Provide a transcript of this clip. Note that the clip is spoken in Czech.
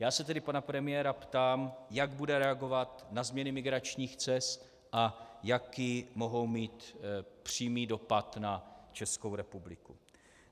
Já se tedy pana premiéra ptám, jak bude reagovat na změny migračních cest a jaký mohou mít přímý dopad na Českou republiku.